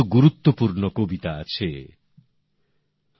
তাঁর মাতামহ শ্রী রাজনারায়ণ বসু বাংলার খুব বড় একজন চিন্তাবিদ ছিলেন